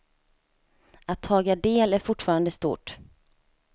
Att taga del är fortfarande stort.